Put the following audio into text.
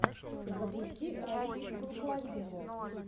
запусти российскую классику